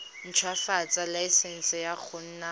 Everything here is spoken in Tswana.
ntshwafatsa laesense ya go nna